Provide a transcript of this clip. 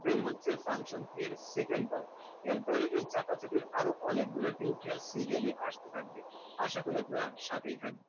then হচ্ছে function key এর second part এরপরে এই চাপাচাপির অনেকগুলো tutorial আসতে থাকবে আশা করি আপনারা সাথেই থাকবেন।